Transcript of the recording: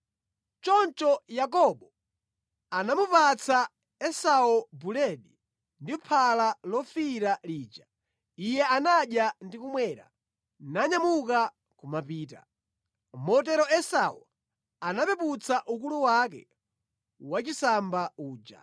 Choncho Yakobo anamupatsa Esau buledi ndi phala lofiira lija. Iye anadya ndi kumwa, nanyamuka kumapita. Motero Esau anapeputsa ukulu wake wachisamba uja.